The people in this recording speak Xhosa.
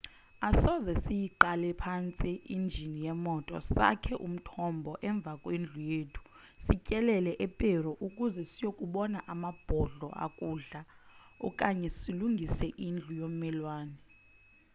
asoze siyiqale phantsi injini yemoto sakhe umthombo emva kwendlu yethu sityelele eperu ukuze siyokubona amabhodlo akudla okanye silungise indlu yommelwane